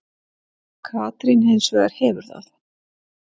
Katrín hins vegar hefur það.